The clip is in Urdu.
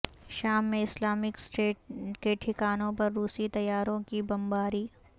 شام میں اسلامک اسٹیٹ کے ٹھکانوں پر روسی طیاروں کی بمباری